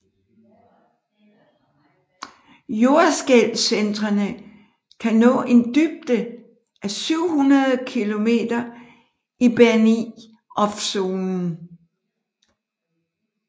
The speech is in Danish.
Jordskælvcentrene kan nå en dybde af 700 km i Benioffzonen